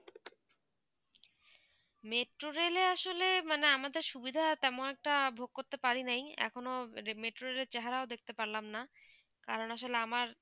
metro rail এ আসলে মানে আমাদের সুবিধা তেমন একটা ভোগ করতে পারি নাই, এখনো metro rail এর চেহারা দেখতে পারলাম না কারণ আসলে আমার